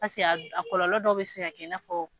Pase a kɔlɔlɔ dɔ bɛ se ka kɛ i na fɔ.